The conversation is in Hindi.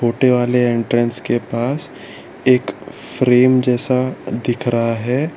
वाले एंट्रेंस के पास एक फ्रेम जैसा दिख रहा है।